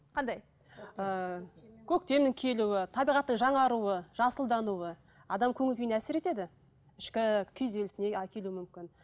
қандай ыыы көктемнің келуі табиғаттың жаңаруы жасылдануы адамның көңіл күйіне әсер етеді ішкі күйзелісіне әкелуі мүмкін